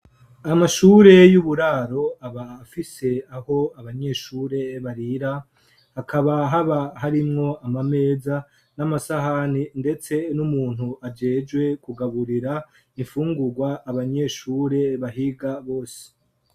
Amashure y'uburaro aba afise aho abanyeshure barira hakaba haba harimwo amameza n'amasahani ndetse n'umuntu ajejwe kugaburira ifungurwa abanyeshure bahiga bose.